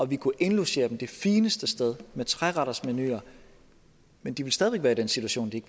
vi kunne indlogere dem det fineste sted med trerettersmenuer men de ville stadig væk være i den situation at de